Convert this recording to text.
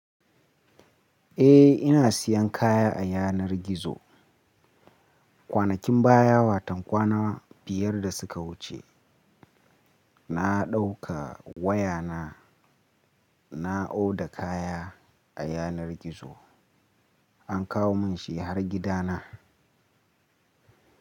Eh ina siyan kaya a yanar gizo. Kwanakin baya watan kwana biyar da suka wuce na ɗauka wayana na oda kaya a yanar gizo an kawo mun shi har gida na.